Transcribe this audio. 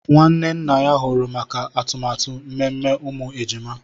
Nwanne nna ya huru maka atụmatụ mmemme umu ejima